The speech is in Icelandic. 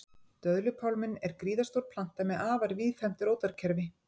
Döðlupálminn er gríðarstór planta með afar víðfeðmt rótarkerfi.